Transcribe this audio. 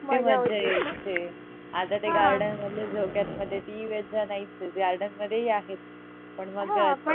किती मजा यायचे आता ते garden मधल्या झोक्यांमध्ये ती मजा नाहीच आहे garden मधेही आहेत पण माग आता